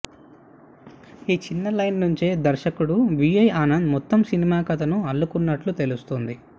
ఈ చిన్న లైన్ నుంచే దర్శకుడు వీఐ ఆనంద్ మొత్తం సినిమా కథను అల్లుకున్నట్లు తెలుస్తోంది